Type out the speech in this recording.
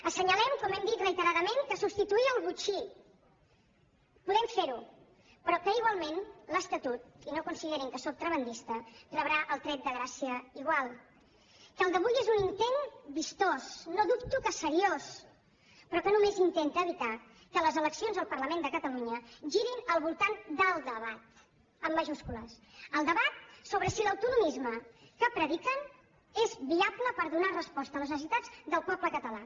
assenyalem com hem dit reiteradament que substituir el botxí podem fer ho però que igualment l’estatut i no considerin que sóc tremendista rebrà el tret de gràcia igual que el d’avui és un intent vistós no dubto que seriós però que només intenta evitar que les eleccions al parlament de catalunya girin al voltant del debat amb majúscules el debat sobre si l’autonomisme que prediquen és viable per donar resposta a les necessitats del poble català